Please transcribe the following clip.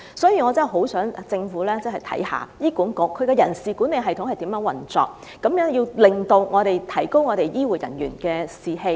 所以，我極盼政府能審視醫管局的人事管理制度的運作情況，提高醫護人員的士氣，提高......